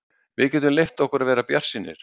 Við getum leyft okkur að vera bjartsýnir.